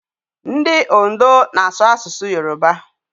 Ndị Ondo na-asụ asụsụ Yoroba.